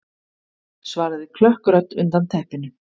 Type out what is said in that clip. svaraði klökk rödd undan teppinu.